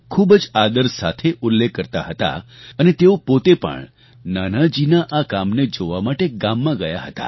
ખૂબ જ આદર સાથે ઉલ્લેખ કરતા હતા અને તેઓ પોતે પણ નાનાજીના આ કામને જોવા માટે ગામમાં ગયા હતા